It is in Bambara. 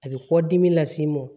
A bɛ kɔdimi las'i ma